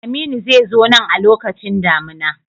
Aminu zai zo nan a lokacin damina.